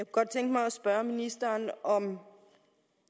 godt tænke mig at spørge ministeren om